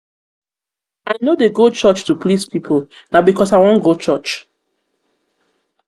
i no dey go church to please pipo na because pipo na because i wan go church.